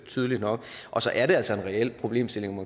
tydeligt nok og så er der altså en reel problemstilling